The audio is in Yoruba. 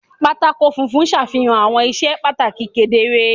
Pátákó funfun ṣàfihàn àwọn iṣẹ́ pàtàkì kedere.